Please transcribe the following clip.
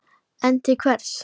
En til hvers?